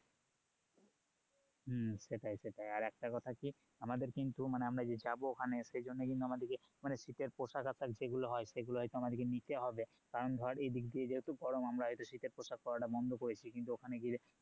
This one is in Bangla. হম সেটাই সেটাই আর একটা কথা কি আমাদের কিন্তু মানে আমরা যে যাবো ওখানে সেইজন্য কিন্তু আমাদেরকে শীতের পোশাক আশাক যেগুলো হয় সেগুলো আমাদেরকে হয়তো নিতে হবে কারণ ধর এইদিক দিয়ে যেহুতু গরম আমরা হয়তো শীতের পোশাক পড়াটা বন্ধ করেছি কিন্তু ওখানে গিয়ে